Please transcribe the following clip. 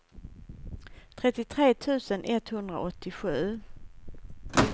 trettiotre tusen etthundraåttiosju